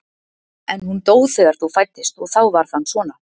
En hún dó þegar þú fæddist og þá varð hann svona.